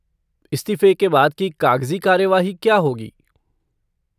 इस्तीफ़े के बाद की कागजी कार्यवाही क्या होगी?